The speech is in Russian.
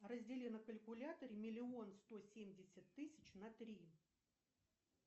раздели на калькуляторе миллион сто семьдесят тысяч на три